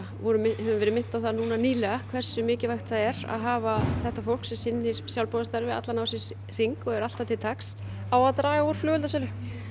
höfum verið minnt á það núna nýlega hversu mikilvægt það er að hafa þetta fólk sem sinnir sjálfboðastarfi allan ársins hring og er alltaf til taks á að draga úr flugeldasölu